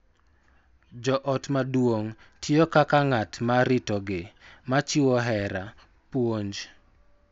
Jo ot maduong� tiyo kaka ng�at ma ritogi, ma chiwo hera, puonj,